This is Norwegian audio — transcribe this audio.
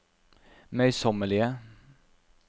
møysommelige